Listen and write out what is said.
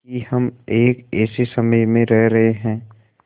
कि हम एक ऐसे समय में रह रहे हैं